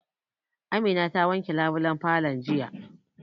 Amina ta wanke labulen falon jiya